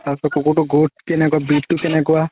তাৰ পিছত কুকুৰতোৰ growth কেনেকুৱা breed তো কেনেকুৱা